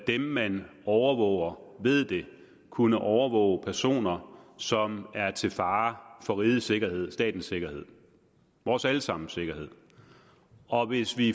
dem man overvåger ved det kunne overvåge personer som er til fare for rigets sikkerhed statens sikkerhed vores alle sammens sikkerhed og hvis vi